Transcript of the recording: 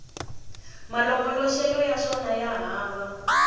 malongoloxelo ya swona ya hava